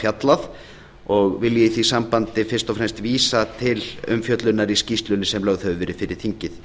fjallað vil ég í því sambandi fyrst og fram vísa til umfjöllunar í skýrslunni sem lögð hefur verið þingið